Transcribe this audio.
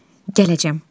Gələcəm.